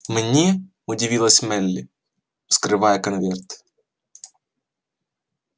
мне удивилась мелли вскрывая конверт